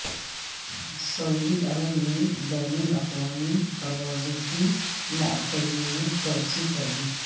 سعودی Arab نے بین الاقوامی پروازوں کی معطلی میں توسیع کردی